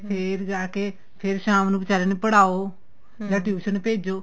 ਫੇਰ ਜਾ ਕੇ ਫੇਰ ਸ਼ਾਮ ਨੂੰ ਬੀਚਾਰੇ ਨੂੰ ਪੜ੍ਹਾਉ tuition ਭੇਜੋ